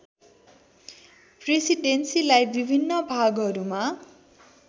प्रेसिडेन्सीलाई विभिन्न भागहरूमा